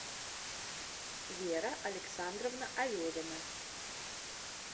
вера александровна аверина